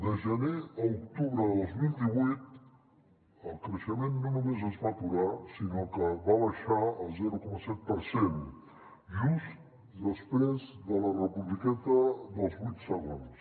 de gener a octubre de dos mil divuit el creixement no només es va aturar sinó que va baixar el zero coma set per cent just després de la republiqueta dels vuit segons